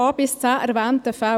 a–c erwähnten Fällen.